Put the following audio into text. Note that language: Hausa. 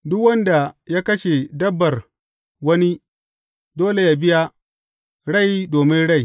Duk wanda ya kashe dabbar wani, dole yă biya, rai domin rai.